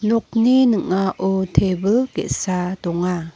nokni ning·ao tebil ge·sa donga.